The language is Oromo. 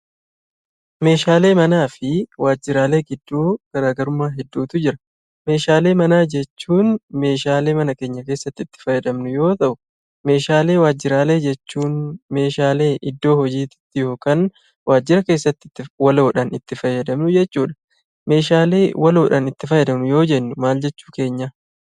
Meeshaalee manaafi waajjiraalee gidduu garagarummaa hedduutu jira. Meeshaalee mana jechuun, meeshaalee mana keenyaa keessatti itti faayyadaamnu yoo ta'u, meeshaalee waajjiraalee jechuun, meeshaalee iddoo hojiitti ykn waajjiraa keessatti waloodhaan itti faayyadaamnu jechuudha. meeshaalee waloodhaan itti faayyadaamnu yoo jennuu maal jechuu keenyaa?